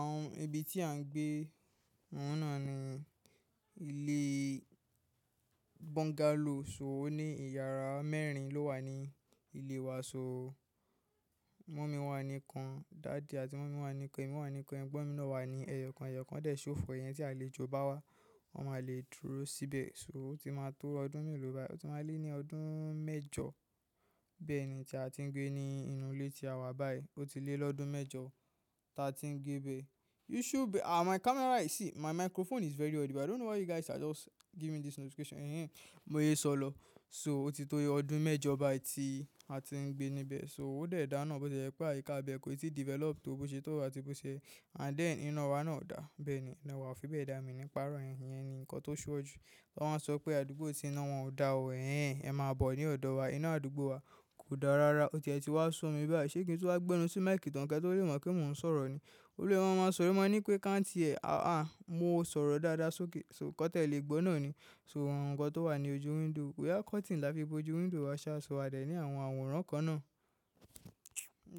Àwọn ibi tí à ń gbé, òun náà ni ilé bungalow sóò ní ìyàrá mẹ́rin ló wà ní ilé wa sóò. Mummy wà ní kan, daddy àti mummy wà ní kan, èmi wà ní kan, ẹ̀gbọ́n mi náà wà ní ẹyọ kan. Ẹyọ kan dè ṣófo yẹn tí a lè jo bá wá, wọn máa lè dúró síbẹ̀. So ó ti máa tó ọdún mélòó báyi? Ó ti máa lé ní ọdún mẹ́jọ bẹ́ẹ̀ ni tí a ti ń gbé ní inú ilé tí a wà báyìí. Ó ti lé lọ́dún mẹ́jọ ta ti ń gbé bẹ. You should be-- ah, my camera, you see, my microphone is very audible. I don't know why you guys are just giving me this notification. Ehen, mo yé sọ lọ. So ó ti tó ọdún mẹ́jọ báyi tí a ti ń gbé níbẹ̀. So óò dẹ̀ dá náà bó ti jẹ́ pé àyíká be o ti develop tó bó ṣe tó àti bó ṣe. And then iná wa náà dà. Bẹ́ẹ̀ni ina wa o fi bẹ́ẹ̀ da. Wọ́n máa sọ pé àdúgbò tí iná wọn ò dà o. Ehen, ẹ máa bọ̀ ní ọ̀dọ̀ wa. Ina àdúgbò wa o da rara. Olórí wọn máa sọ̀rọ̀, máa ní pé káǹtì ẹ̀, ah, mo sọ̀rọ̀ dáadáa sókè, so kí wọ́n tẹ̀ lè gbọ́ náà ni. So òòrùn ǹkan tó wà ní ojú window. We have curtain láti fi bo ojú window wa, ṣaṣọ wa dè ní àwọn àwòrán kan náà.